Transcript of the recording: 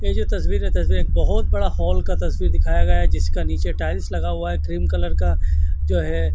ये जो तस्वीर है तस्वीर एक बहोत बड़ा हॉल का तस्वीर दिखाया गया है जिसका नीचे टाइल्स लगा हुआ है क्रीम कलर का जो है।